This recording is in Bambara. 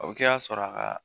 O bɛ kɛ ka sɔrɔ a ka